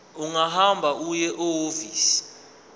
ungahamba uye ehhovisi